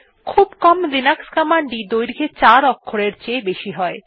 খুব কম লিনাক্স কমান্ডই দৈর্ঘ্যে চার অক্ষরের চেয়ে বেশি হয়